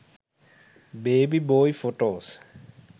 baby boy photos